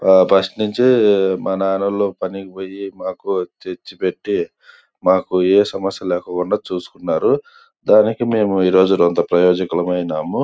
ఆ ఫస్ట్ నుంచి మన ఆడోల్లు పనికి పోయి మాకు తెచ్చు పెట్టి మాకు ఏ సమస్య లేకుండా చూసుకున్నారు దానికి మేము ఇంత ప్రయోజకులము అయినాము.